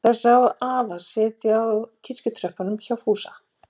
Þær sáu afa setjast á kirkjutröppurnar hjá Fúsa.